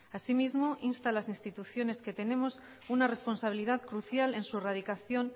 asimismo insta a las instituciones que tenemos una responsabilidad crucial en su erradicación